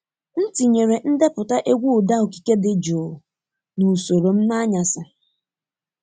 M tinyere ndepụta egwu ụda okike dị jụụ n’usoro m n’anyasị.